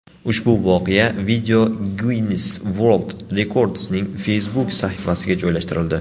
Ushbu voqea Video Guinnes World Records’ning Facebook sahifasiga joylashtirildi .